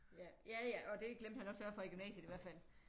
Ja ja og det glemte han at sørge for i gymnasiet i hvert fald